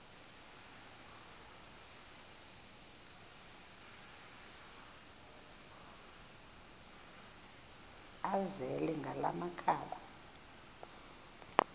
azele ngala makhaba